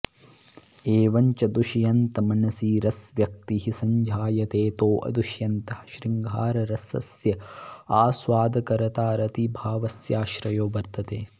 एवञ्च दुष्यन्तमनसि रसव्यक्तिः सञ्जायतेऽतो दुष्यन्तः शृङ्गाररसस्य आस्वादकर्ता रतिभावस्याश्रयो वर्त्तते